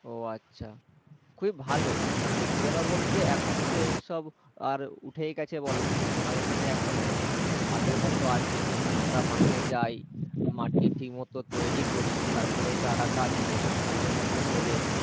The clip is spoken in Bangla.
খুবেই ভালো আর সত্যি কথা বলতে এখন তো এইসব আর উঠেই গেছে বলো কিন্তু আমাদের এখানে আগের মতো আছে। আমরা মাঠে যাই, মাটি ঠিক মতো তৈরী করি। তার পরে চারাগাছ নিয়ে সময় মতো হলে